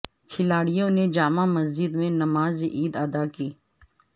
کھلاڑیوں نے جامع مسجد میں نماز عید ادا کی